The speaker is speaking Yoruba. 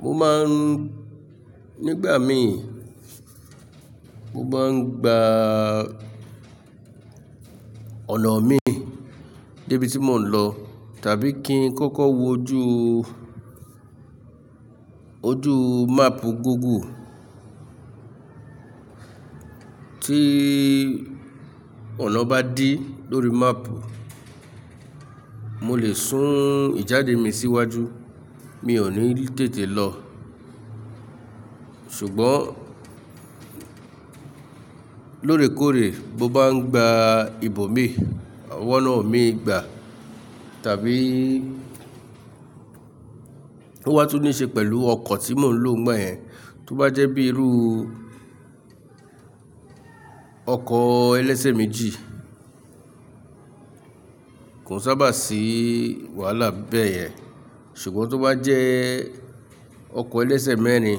Mo ma ń nígbà mi, mo ma ń gba ọ̀nà mi dé ibi tí mò ń lọ tàbí kí n kọ́kọ́ wojú, ojú map Google. Tí ọ̀nà bá dí lórí map, mo lè sún ìjáde mi síwájú, mi ò ní tètè lọ. Ṣùgbọ́n lóorèkoórè mo bá n gba ibòmí, wa ọ̀nà mií gbà tàbí ó wá tún ní ṣe pẹ̀lú ọkọ̀ tí mò ń lò ńgbà yẹn. Tó bá jẹ́ bíi irú ọkọ̀ ẹlẹ́sẹ̀ méjì kò n sábà sí wàhálà bẹ́yẹn, ṣùgbọ́n tó bá jẹ́ ọkọ̀ ẹlẹ́sẹ̀ mẹ́rin